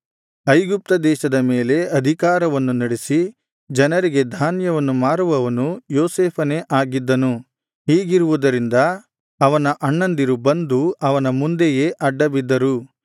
ಐಗುಪ್ತ ದೇಶದ ಮೇಲೆ ಅಧಿಕಾರವನ್ನು ನಡಿಸಿ ಜನರಿಗೆ ಧಾನ್ಯವನ್ನು ಮಾರುವವನು ಯೋಸೇಫನೇ ಆಗಿದ್ದನು ಹೀಗಿರುವುದರಿಂದ ಅವನ ಅಣ್ಣಂದಿರು ಬಂದು ಅವನ ಮುಂದೆಯೇ ಅಡ್ಡಬಿದ್ದರು